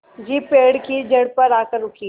jeep पेड़ की जड़ पर आकर रुकी